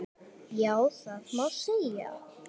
Já, það má segja.